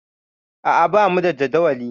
A'a, bamu da jadawali.